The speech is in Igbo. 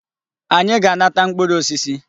Anyị ga na-ata mkpụrụ osisi.